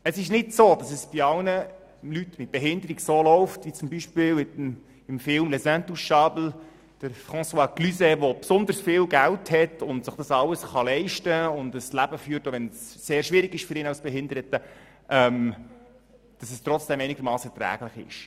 Es läuft nicht bei allen Leuten mit einer Behinderung so, wie das zum Beispiel im Film «Les Intouchables» gezeigt wird, wo François Cluzet besonders viel Geld hat, sich alles leisten kann und ein Leben führt, das trotzdem einigermassen erträglich ist für ihn, auch wenn das für ihn als Behinderten sehr schwierig ist.